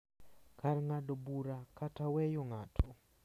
Kar ng’ado bura kata weyo ng’ato.